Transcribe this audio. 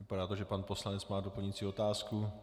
Vypadá, že to pan poslanec má doplňující otázku.